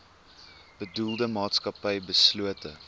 bedoelde maatskappy beslote